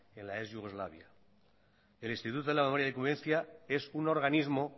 en la ex yugoslavia el instituto de la memoria de la convivencia es un organismo